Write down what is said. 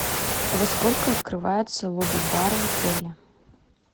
во сколько открывается лобби бар в отеле